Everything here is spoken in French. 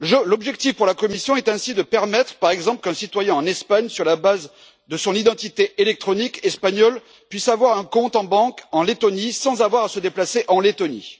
L'objectif pour la Commission est ainsi de permettre, par exemple, qu'un citoyen en Espagne, sur la base de son identité électronique espagnole, puisse avoir un compte en banque en Lettonie, sans avoir à se déplacer dans ce pays.